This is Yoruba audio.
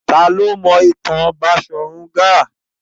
Ta ni ó mọ ìtàn Baṣọ̀run Gáà?